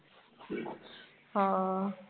ਹਾਂ